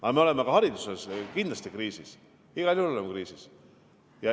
Aga me oleme ka hariduses kindlasti kriisis, igal juhul oleme kriisis.